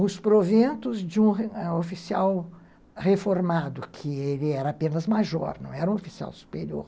Os proventos de um oficial reformado, que ele era apenas major, não era um oficial superior.